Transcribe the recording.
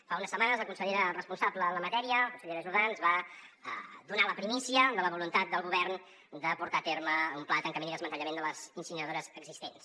fa unes setmanes la consellera responsable en la matèria la consellera jordà ens va donar la primícia de la voluntat del govern de portar a terme un pla de tancament i desmantellament de les incineradores existents